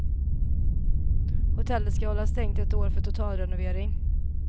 Hotellet ska hålla stängt ett år för totalrenovering.